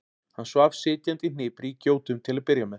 Hann svaf sitjandi í hnipri í gjótum til að byrja með.